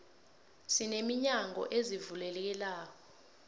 sine minyango ezivulekelako